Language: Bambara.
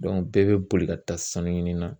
bɛɛ bɛ boli ka taa sanu ɲinina